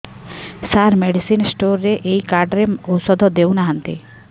ସାର medicine store ରେ ଏଇ card ରେ ଔଷଧ ଦଉନାହାନ୍ତି